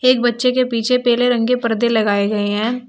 एक बच्चे के पीछे पीले रंग के पर्दे भी लगाए गए हैं।